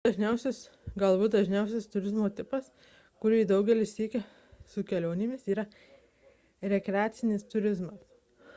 galbūt dažniausias turizmo tipas kurį daugelis sieja su kelionėmis yra rekreacinis turizmas